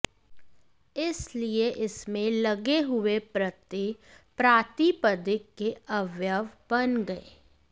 इसलिए इसमें लगे हुए प्रत्यय प्रातिपदिक के अवयव बन गये